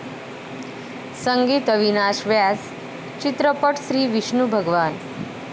संगीत अविनाश व्यास, चित्रपट श्री विष्णू भगवान